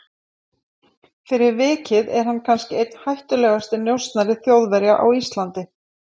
Fyrir vikið er hann kannski einn hættulegasti njósnari Þjóðverja á Íslandi.